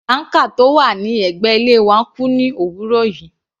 Banker tó wà ní ẹ̀gbẹ́ ilé wa kú ní òwúrọ̀ yìí.